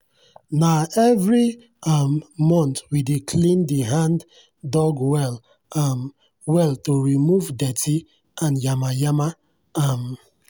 nah every um month we dey clean the hand-dug well um well to remove dirty and yamayama. um